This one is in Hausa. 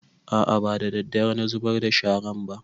A'a ba daddare na zubar da sharan ba